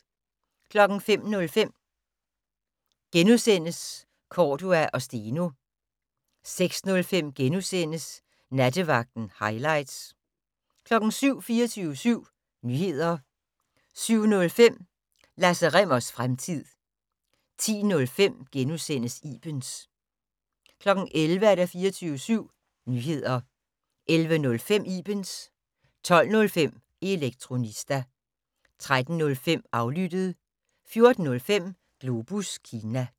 05:05: Cordua & Steno * 06:05: Nattevagten - hightlights * 07:00: 24syv Nyheder 07:05: Lasse Rimmers fremtid 10:05: Ibens * 11:00: 24syv Nyheder 11:05: Ibens 12:05: Elektronista 13:05: Aflyttet 14:05: Globus Kina